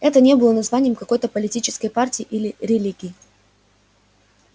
это не было названием какой-то политической партии или религии